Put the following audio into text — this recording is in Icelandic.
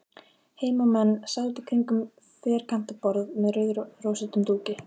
Heimamenn sátu kringum ferkantað borð með rauðrósóttum dúki.